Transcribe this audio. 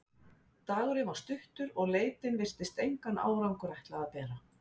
Dagurinn var stuttur, og leitin virtist engan árangur ætla að bera.